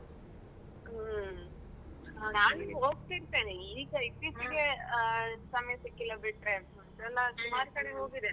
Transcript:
ಹ್ಮ್. ನಾನ್ ಹೋಗ್ತಿರ್ತೇನೆ ಈಗ ಇತ್ತೀಚೆ ಗೆ ಸಮಯ ಸಿಕ್ಕಿಲ್ಲ ಬಿಟ್ರೆ ಸುಮಾರ್ ಸಲ ಹೋಗಿದ್ದೇನೆ.